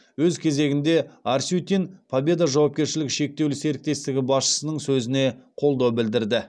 өз кезегінде арсютин победа жауапкершілігі шектеулі серіктестігі басшысының сөзіне қолдау білдірді